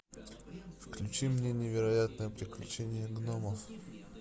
включи мне невероятное приключение гномов